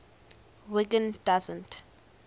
wiggin doesn t